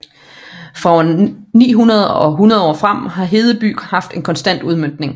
Fra år 900 og 100 år frem har Hedeby haft en konstant udmøntning